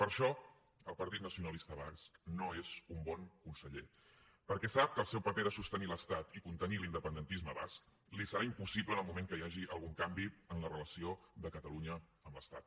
per això el partit nacionalista basc no és un bon conseller perquè sap que el seu paper de sostenir l’estat i contenir l’independentisme basc li serà impossible en el moment que hi hagi algun canvi en la relació de catalunya amb l’estat